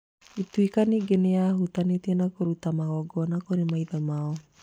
Ituĩka ningĩ nĩ yahutanĩtie na kũruta magongona kũrĩ maithe mao.